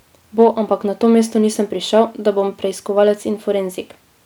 Bo, ampak na to mesto nisem prišel, da bom preiskovalec in forenzik.